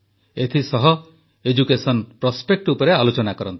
ଏଥିସହ education prospect ଉପରେ ଆଲୋଚନା କରନ୍ତି